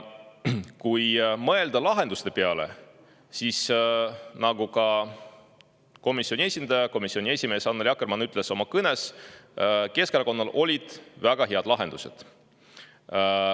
Kui mõelda lahenduste peale, siis nagu ka komisjoni esindaja, komisjoni esimees Annely Akkermann oma kõnes ütles, Keskerakonnal olid väga head lahendused.